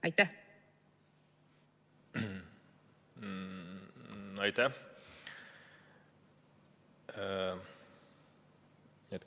Aitäh!